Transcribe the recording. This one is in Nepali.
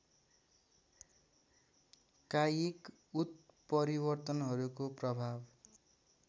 कायिक उत्परिवर्तनहरूको प्रभाव